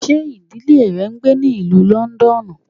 Ṣe idile rẹ n gbe ní Ìlú Lọndọnu?